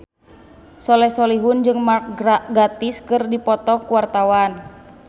Soleh Solihun jeung Mark Gatiss keur dipoto ku wartawan